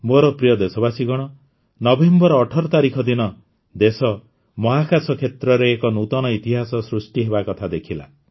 ମୋର ପ୍ରିୟ ଦେଶବାସୀଗଣ ନଭେମ୍ବର ୧୮ ତାରିଖ ଦିନ ଦେଶ ମହାକାଶ କ୍ଷେତ୍ରରେ ଏକ ନୂତନ ଇତିହାସ ସୃଷ୍ଟି ହେବା କଥା ଦେଖିଲା